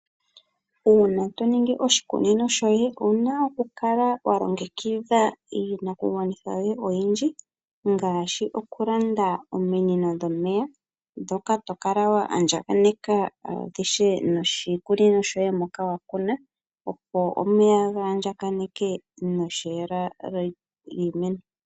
Uuna toningi oshikunino shoye ouna okukala wa longekidha iinakugwanithwa yoye oyindji ngaashi okulanda ominino dhomeya ndhoka to kala wa andjakaneka noshikunino shoye mpoka wa kuna, opo omeya ga andjakaneke nokutekela iimeno.